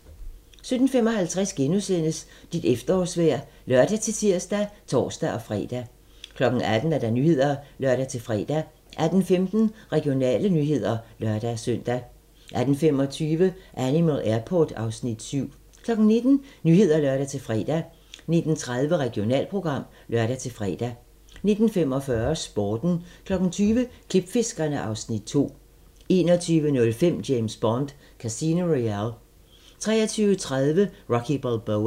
17:55: Dit efterårsvejr *(lør-tir og tor-fre) 18:00: Nyhederne (lør-fre) 18:15: Regionale nyheder (lør-søn) 18:25: Animal Airport (Afs. 7) 19:00: Nyhederne (lør-fre) 19:30: Regionalprogram (lør-fre) 19:45: Sporten 20:00: Klipfiskerne (Afs. 2) 21:05: James Bond: Casino Royale 23:30: Rocky Balboa